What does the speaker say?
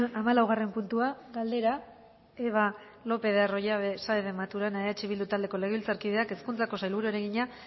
hamalaugarren puntua galdera eva lopez de arroyabe saez de maturana eh bildu taldeko legebiltzarkideak hezkuntzako sailburuari egina